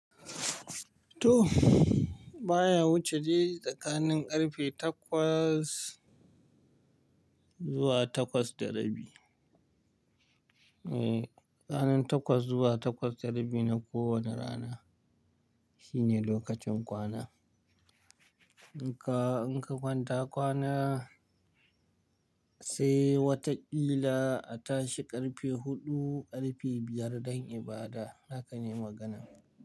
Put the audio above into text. Toh! Baya wuce dai tsakanin ƙarfe takwas zuwa takwas da rabi. Eh, tsakanin takwas zuwa takwas da rabi na kowane rana shine lokacin kwana. In ka, in ka kwanta kwana sai wata ƙila a tashi ƙarfe huɗu, ƙarfe biyar don ibada, haka ne maganan?